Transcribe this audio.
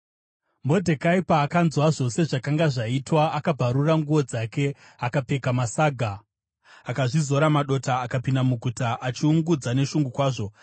Modhekai paakanzwa zvose zvakanga zvaitwa, akabvarura nguo dzake, akapfeka masaga, akazvizora madota, akapinda muguta achiungudza neshungu kwazvo.